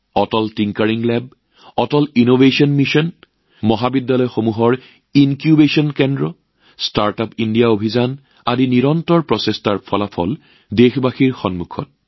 অটল tinkering lab Atal innovation mission কলেজত incubation centre startup India অভিযান এনে অদম্য প্ৰচেষ্টাৰ ফল দেশবাসীৰ সন্মুখত